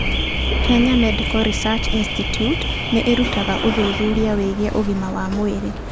Kenya Medical Research Institute nĩ ĩrutaga ũthuthuria wĩgiĩ ũgima wa mwĩrĩ.